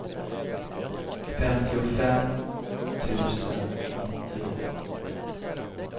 femtiofem tusen nittio